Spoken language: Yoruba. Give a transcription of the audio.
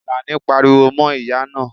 Alani pariwo mo ìyá naa